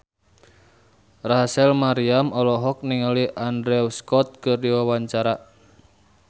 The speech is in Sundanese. Rachel Maryam olohok ningali Andrew Scott keur diwawancara